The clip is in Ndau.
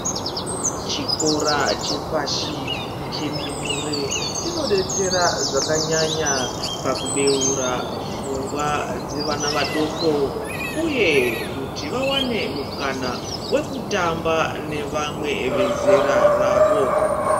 Chikora chepashi chendumure chinobetsera zvakanyanya pakubeura pfungwa dzevana vadoko, uye kuti vavane mukana vekutamba nevamwe vezera ravo.